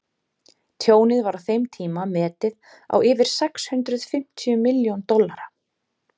tjónið var á þeim tíma metið á yfir sex hundruð fimmtíu milljón dollara